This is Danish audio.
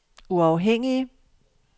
uafhængige